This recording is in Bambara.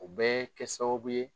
U bɛ kɛ sababu ye